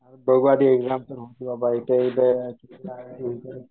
बघू आता एक्झामच्या नंतर बाबा. एकदा